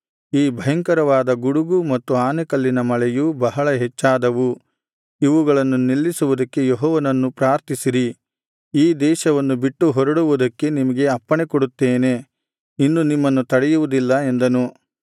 ಈ ಭಯಂಕರವಾದ ಗುಡುಗು ಮತ್ತು ಆನೆಕಲ್ಲಿನ ಮಳೆಯೂ ಬಹಳ ಹೆಚ್ಚಾದವು ಇವುಗಳನ್ನು ನಿಲ್ಲಿಸುವುದಕ್ಕೆ ಯೆಹೋವನನ್ನು ಪ್ರಾರ್ಥಿಸಿರಿ ಈ ದೇಶವನ್ನು ಬಿಟ್ಟು ಹೊರಡುವುದಕ್ಕೆ ನಿಮಗೆ ಅಪ್ಪಣೆ ಕೊಡುತ್ತೇನೆ ಇನ್ನು ನಿಮ್ಮನ್ನು ತಡೆಯುವುದಿಲ್ಲ ಎಂದನು